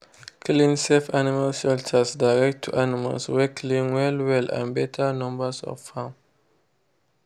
clean safe animal shelters direct to animals wey clean well-well and better numbers of farm.